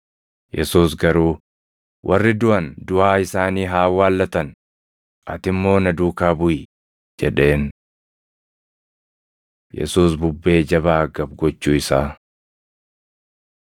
Yesuus garuu, “Warri duʼan duʼaa isaanii haa awwaallatan; ati immoo na duukaa buʼi” jedheen. Yesuus Bubbee Jabaa Gab gochuu Isaa 8:23‑27 kwf – Mar 4:36‑41; Luq 8:22‑25 8:23‑27 kwi – Mat 14:22‑33